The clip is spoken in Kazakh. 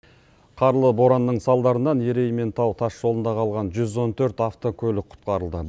қарлы боранның салдарынан ерейментау тас жолында қалған жүз он төрт автокөлік құтқарылды